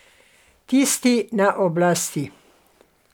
Tisti na oblasti.